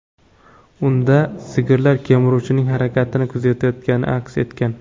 Unda sigirlar kemiruvchining harakatini kuzayotgani aks etgan.